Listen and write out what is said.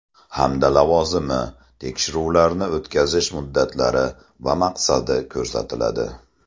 hamda lavozimi, tekshiruvlarni o‘tkazish muddatlari va maqsadi ko‘rsatiladi.